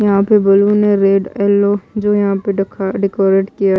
यहां पे बल्ब ने रेड येलो जो यहां पे डका डेकोरेट किया--